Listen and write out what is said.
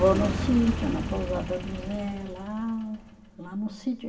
Vou no sítio, na pousada do Zé, lá lá no sítio.